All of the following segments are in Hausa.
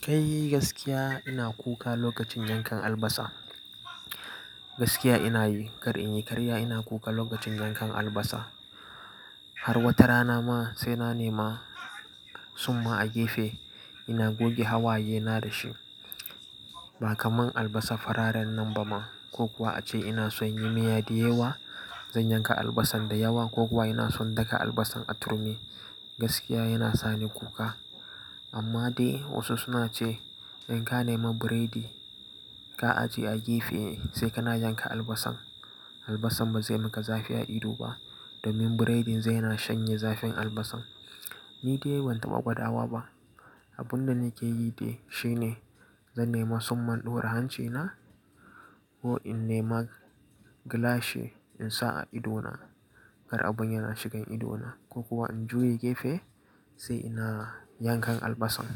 Kai gaskiya ina kuka lokacin yankan albasa. Gaskiya ina yi kar in yi karya ina kuka lokacin yankan albasa. Har watarana ma sai na nema tsumma a gefe ina goge hawaye na da shi. Ba kamar albasa fararen nan ba ma ko kuwa ace ina son yin miya da yawa zan yanka albasan da yawa ko kuwa ina son daka albasan a turmi gaskiya yana sani kuka. Amma dai wasu suna ce in ka nema biredi ka ajiye a gefe sai kana yanka albasan, albasan ba zai maka zafi a ido ba domin burodin zai na shanye zafin albasan. Ni dai ban taɓa gwada wa ba. Abun da nake yi dai shine zan nema tsumman ɗora hancina ko in nema gilashi in sa a idona kar abin yana shigan idona ko kuwa in juye gefe sai ina yankan albasan.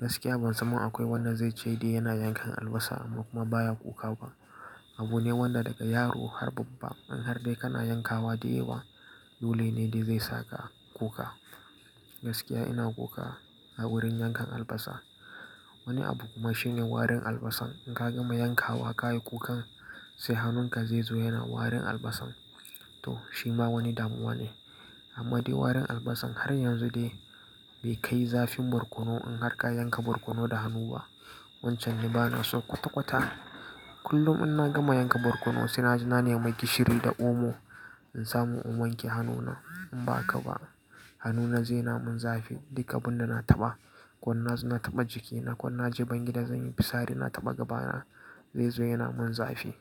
Gaskiya ban san ma akwai wanda zai ce dai yana yankan albasa amma kuma baya kuka ba. Abu ne wanda daga yaro har babba in har dai kana yankawa da yawa, dole ne dai zai saka kuka. Gaskiya ina kuka a wurin yankan albasa. Wani abu kuma shine warin albasan in ka gama yankawa ka yi kukan sai hannunka zai zo yana warin albasan. To shi ma wani damuwa ne. Amma dai warin albasan har yanzu dai bai kai zafin barkono in har ka yanka barkono da hannu ba. Wancan ni bana so kwata-kwata. Kullum in na gama yanka barkono sai na ji na nema gishiri da omo in samu in wanke hannuna in ba haka ba hannuna zai na mun zafi. Duk abun da na taɓa, ko in na zo na taɓa jikina, ko in na je bayan gida zan yi fitsari na taɓa gabana zai zo yana mun zafi.